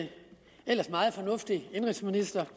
en ellers meget fornuftig indenrigsminister